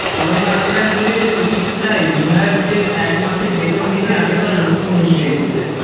corona আক্রান্তদের চিকিৎসায় বিধায়কদের এক মাসের বেতন দিতে আবেদন মুখ্যমন্ত্রীর